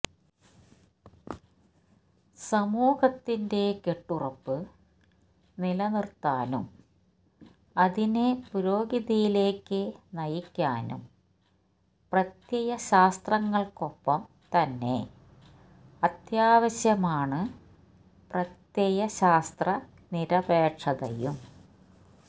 സമൂഹത്തിന്റെ കെട്ടുറപ്പ് നിലനിറുത്താനും അതിനെ പുരോഗതിയിലേക്കു നയിക്കാനും പ്രത്യയശാസ്ത്രങ്ങള്ക്കൊപ്പം തന്നെ അത്യാവശ്യമാണ് പ്രത്യയശാസ്ത്ര നിരപേക്ഷതയും